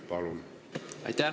Palun!